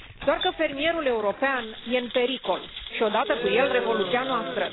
Doar că fermierul european e în pericol, și odată cu el revoluția noastră.